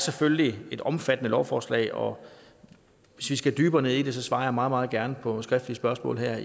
selvfølgelig et omfattende lovforslag og hvis vi skal dybere ned i det svarer jeg meget meget gerne på skriftlige spørgsmål her